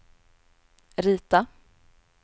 rita